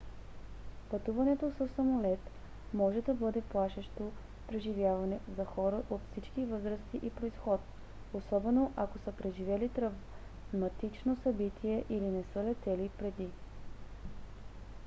пътуването със самолет може да бъде плашещо преживяване за хора от всички възрасти и произход особено ако са преживели травматично събитие или не са летели преди